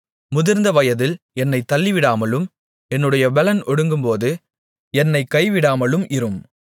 முதிர்ந்த வயதில் என்னைத் தள்ளிவிடாமலும் என்னுடைய பெலன் ஒடுங்கும்போது என்னைக் கைவிடாமலும் இரும்